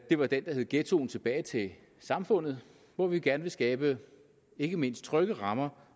det var den der hed ghettoen tilbage til samfundet hvor vi gerne vil skabe ikke mindst trygge rammer